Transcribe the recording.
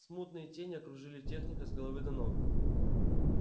смутные тени окружили техника с головы до ног